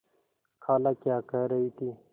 खाला क्या कह रही थी